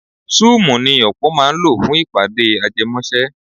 Súùmù ni ọ̀pọ̀ máa ń lò fún ìpàdé ajẹmọ́ṣẹ́.